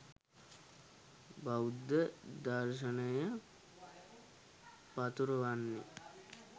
බෞද්ධ දර්ශනය පතුරවන්න.